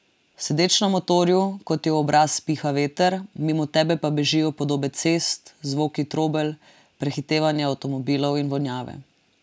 Sedeč na motorju, ko ti v obraz piha veter, mimo tebe pa bežijo podobe cest, zvoki trobelj, prehitevanje avtomobilov in vonjave.